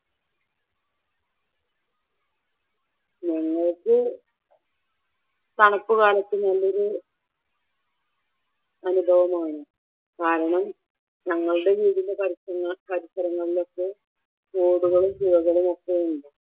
ഞങ്ങൾക്ക് തണുപ്പ് കാലത്ത് നല്ലൊരു അനുഭവമാണ് കാരണം ഞങ്ങളുടെ വീടിൻ്റ പരിസരങ്ങളിലൊക്കെ തോടുകളും പുഴകളും ഒക്കെ ഉണ്ട്.